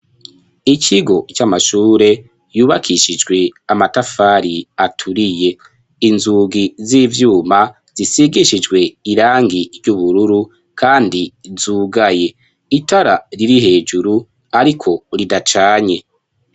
Ikigo c'amashure yubakishijwe amatafari aturiye .Inzugi z'ivyuma zisigishijwe irangi ry'ubururu kandi zugaye itara riri hejuru ariko ridacanye.